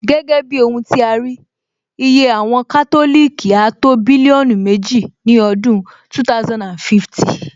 Gẹ́gẹ́ bí ohun tí a rí, iye àwọn Kátòlìkì áá tó bílíọ́nù méjì ní ọdún 2050